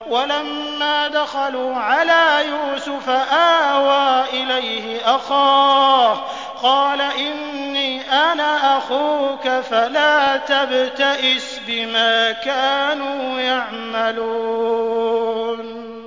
وَلَمَّا دَخَلُوا عَلَىٰ يُوسُفَ آوَىٰ إِلَيْهِ أَخَاهُ ۖ قَالَ إِنِّي أَنَا أَخُوكَ فَلَا تَبْتَئِسْ بِمَا كَانُوا يَعْمَلُونَ